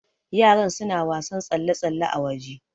Yaran suna wasan tsalle-tsalle a waje